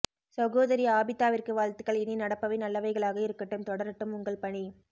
சகோதரி ஆபிதாவிற்கு வாழ்த்துக்கள் இனி நடப்பவை நல்லவைகளாக இருக்கட்டும் தொடரட்டும் உங்கள் பணி